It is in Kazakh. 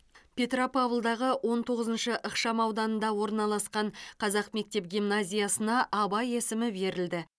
петропавлдағы он тоғызыншы ықшам ауданда орналасқан қазақ мектеп гимназиясына абай есімі берілді